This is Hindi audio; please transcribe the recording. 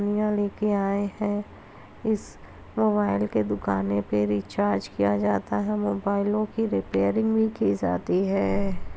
यहाँ लेकर आये हैं। इस मोबाइल के दुकाने पे रिचार्ज किया जाता है। मोबाइलों की रिपेरिंग भी की जाती है।